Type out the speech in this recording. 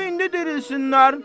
Qoy indi dirilsinlər.